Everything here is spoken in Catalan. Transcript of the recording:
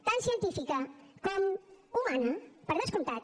tant científica com humana per descomptat